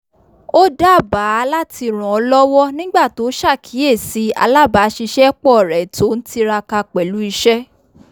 ó dábàá láti rànlọ́wọ́ nígbà tó sàkíyèsí alábàṣìṣépọ̀ rẹ̀ tó n tiraka pẹ̀lú iṣẹ́